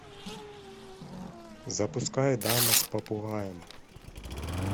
запускай дама с попугаем